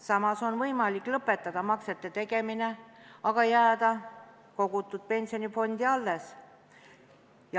Samas on võimalik lõpetada maksete tegemine, aga jätta kogutu pensionifondi alles.